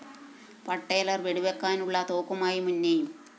പട്ടേലര്‍ വെടിവെക്കാനുള്ള തോക്കുമായി മുന്നെയും